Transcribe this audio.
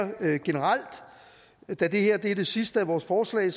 generelt da det her er det sidste af vores forslag